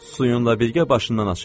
Suyunla birgə başından açıl.